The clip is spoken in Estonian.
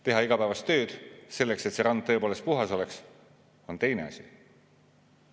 Teha igapäevast tööd, et rand tõepoolest puhas oleks, on teine asi.